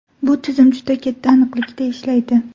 Bu tizim juda katta aniqlikda ishlaydi.